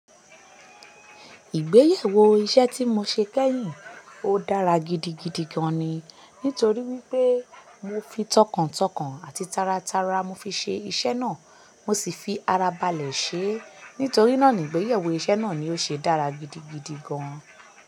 Ìgbéyàwó iṣẹ́ tí mo ṣe kẹ́yìn, ó dára gidigidi gan-an ni. Nítorí wípé mo fi tọkàntọkàn àti taratara mo fi ṣe iṣẹ́ náà. Mo sì fi ara balẹ̀ ṣe. Nítorí náà ni ìgbéyàwó iṣẹ́ náà ni ó ṣe dára gidigidi gan-an.